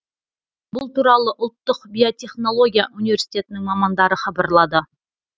бұл туралы ұлттық биотехнология университетінің мамандары хабарлады